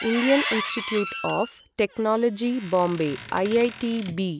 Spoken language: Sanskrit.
Indian institute of technology Bombay IITB